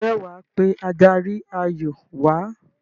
ǹjẹ́ wà á pe adarí-ayò wà á?